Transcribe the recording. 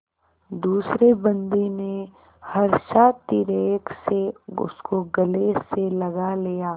दूसरे बंदी ने हर्षातिरेक से उसको गले से लगा लिया